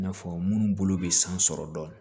I n'a fɔ minnu bolo bɛ san sɔrɔ dɔɔnin